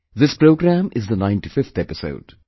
This programmme is the 95th episode